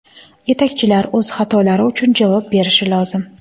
Yetakchilar o‘z xatolari uchun javob berishi lozim”.